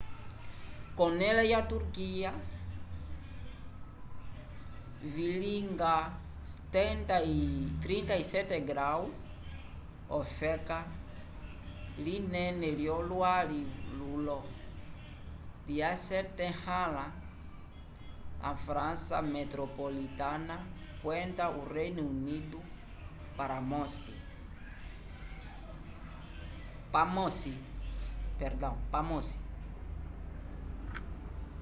kolone lya turquia vilinga 37º ofeka linene lyo lwali lulo lya syetahala frança metropolitana kwenda o reino unido pamosi